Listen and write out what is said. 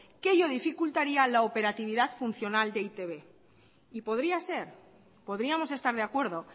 que ello dificultaría la operatividad funcional de e i te be y podría ser podríamos estar de acuerdo